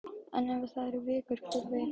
En ef það eru vikur, hver veit?